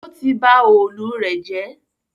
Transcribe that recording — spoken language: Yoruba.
Ó ti ba òòlù rẹ̀ jẹ́